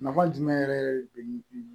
Nafa jumɛn yɛrɛ de be